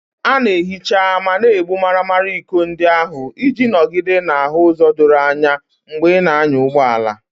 A na-ehicha ma na-egbu maramara iko ndị ahụ iji nọgide na-ahụ ụzọ doro anya mgbe ị na-anya ụgbọ ala.